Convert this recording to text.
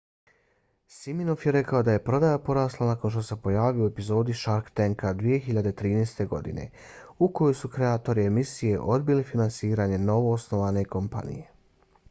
siminoff je rekao da je prodaja porasla nakon što se pojavio u epizodi shark tanka 2013. godine u kojoj su kreatori emisije odbili finansiranje novoosnovane kompanije